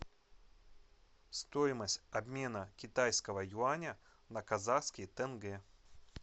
стоимость обмена китайского юаня на казахский тенге